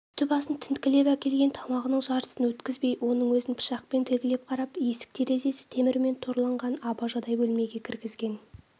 үсті-басын тінткілеп әкелген тамағының жартысын өткізбей оның өзін пышақпен тілгілеп қарап есік-терезесі темірмен торланған абажадай бөлмеге кіргізген